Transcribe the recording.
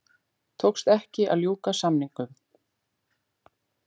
Tókst ekki að ljúka samningum